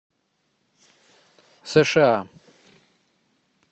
сша